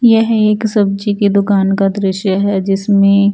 यह एक सब्जी की दुकान का दृश्य है जिसमें --